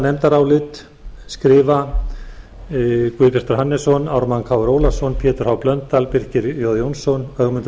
nefndarálit skrifa háttvirtir þingmenn guðbjartur hannesson ármann krónu ólafsson pétur h blöndal birkir j jónsson ögmundur